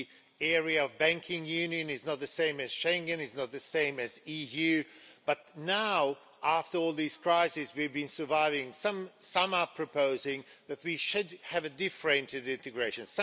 The area of banking union is not the same as Schengen, it is not the same as EU, but now after all these crises we've been surviving, some are proposing that we should have a differentiated integration.